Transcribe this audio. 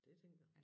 Det tænker jeg